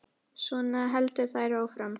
Svona héldu þær áfram.